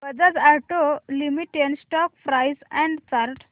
Bajaj auto limited stock price and chart